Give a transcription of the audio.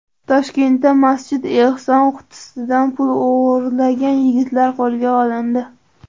Toshkentda masjid ehson qutisidan pul o‘g‘irlagan yigitlar qo‘lga olindi.